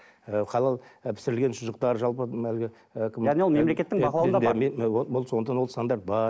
ы халал ы пісірілген шұжықтар жалпы мына әлгі сондықтан ол стандарт бар